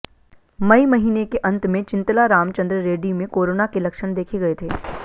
मई महीने के अंत में चिंतला रामचंद्र रेड्डी में कोरोना के लक्षण देखे गए थे